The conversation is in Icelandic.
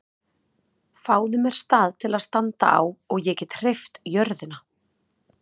Fáðu mér stað til að standa á og ég get hreyft jörðina!